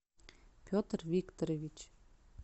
петр викторович